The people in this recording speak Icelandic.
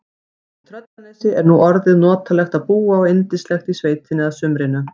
Í Tröllanesi er nú orðið notalegt að búa og yndislegt í sveitinni að sumrinu.